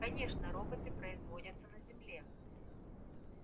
конечно роботы производятся на земле